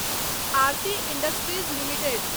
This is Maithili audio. Aarti industries limited